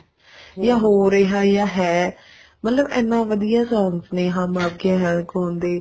ਜਾਂ ਹੋ ਰਿਹਾ ਜਾਂ ਹੈ ਮਤਲਬ ਇੰਨੇ ਵਧੀਆ songs ਨੇ ਹਮ ਆਪਕੇ ਹੈਂ ਕੋਣ ਦੇ